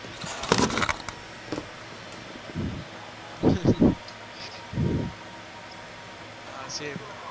હા હા છે એવું